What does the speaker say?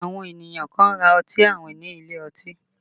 Àwọn ènìyàn kan ra ọtí àwìn ní ilé ọtí